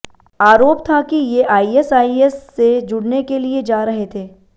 आरोप था कि ये आईएसआईएस से जुड़ने के लिए जा रहे थे